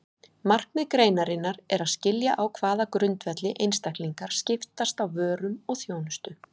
Markmið greinarinnar er að skilja á hvaða grundvelli einstaklingar skiptast á vörum og þjónustu.